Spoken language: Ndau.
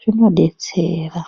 zvinotibetsera .